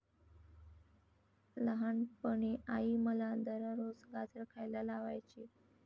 लहानपणी आई मला दररोज गाजर खायला लावायची.